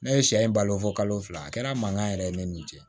Ne ye sɛ in balo fɔ kalo fila a kɛra mankan yɛrɛ ye ne n'u cɛ